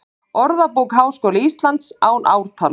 Orðabók Háskóla Íslands, án ártals.